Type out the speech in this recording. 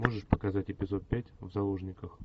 можешь показать эпизод пять в заложниках